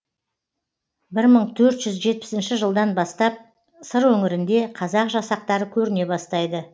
бір мың төрт жүз жетпісінші жылдан бастап сыр өңірінде қазақ жасақтары көріне бастайды